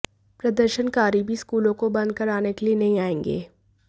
प्रदर्शनकारी भी स्कूलों को बंद कराने के लिए नहीं आएंगे